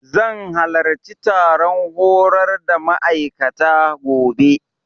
Zan halarci taron horar da ma'aikata, gobe.